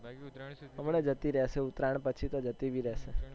હમણાં જતી રહેશે ઉતરાયણ પછી તો જતી બી રહેશે